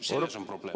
Selles on probleem.